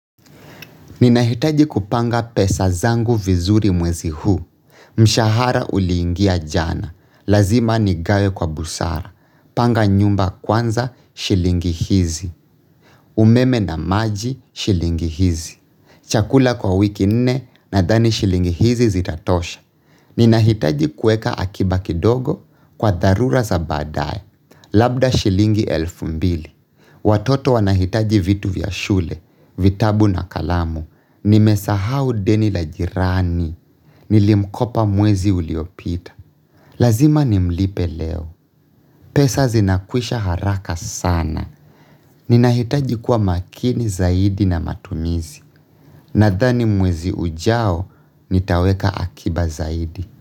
Ninahitaji kupanga pesa zangu vizuri mwezi huu, mshahara uliingia jana, lazima nigawe kwa busara, panga nyumba kwanza shilingi hizi, umeme na maji shilingi hizi, chakula kwa wiki nne nadhani shilingi hizi zitatosha. Ninahitaji kueka akiba kidogo kwa dharura za baadae, labda shilingi elfu mbili. Watoto wanahitaji vitu vya shule, vitabu na kalamu. Nimesahau deni la jirani. Nilimkopa mwezi uliopita. Lazima nimlipe leo. Pesa zinakwisha haraka sana. Ninahitaji kuwa makini zaidi na matumizi. Nadhani mwezi ujao, nitaweka akiba zaidi.